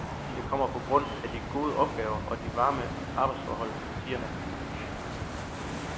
Jeg kommer på grund af de gode opgaver og de varme arbejdsforhold, siger han.